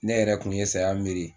Ne yɛrɛ kun ye saya miiri